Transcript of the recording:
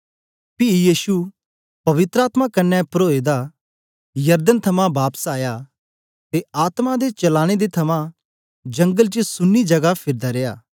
पी यीशु पवित्र आत्मा कन्ने परोए दा यरदन थमां बापस आया ते आत्मा दे चलाने दे थमां जंगल च सुन्नी जगा फिरदा रिया